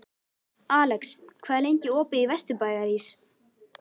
Alex, hvað er lengi opið í Vesturbæjarís?